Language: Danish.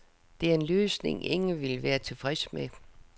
Det er en løsning, ingen vil være tilfredse med.